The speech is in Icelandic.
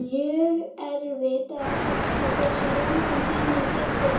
Mjög erfitt er að áætla hversu langan tíma það tekur